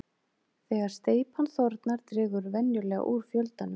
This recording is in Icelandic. Þegar steypan þornar dregur venjulega úr fjöldanum.